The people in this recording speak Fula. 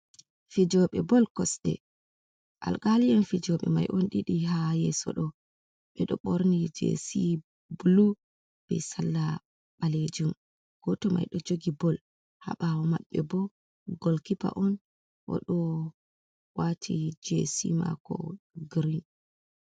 Fijooɓe bol kosɗe, alkaalien fijooɓe mai on ɗiɗi haa yeeso ɗo, ɓe ɗo ɓorni jesi bulu, be sarla ɓaleejum, gooto mai ɗo jogi bol, ha ɓaawo maɓɓe bo golkipa on o ɗo waati jesi maako girin.